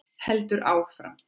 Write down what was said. Heldur áfram